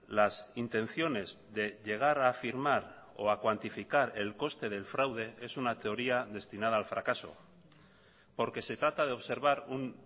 las intenciones de llegar a afirmar o a cuantificar el coste del fraude es una teoría destinada al fracaso porque se trata de observar un